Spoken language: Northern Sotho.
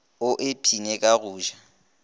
o ipshine ka go ja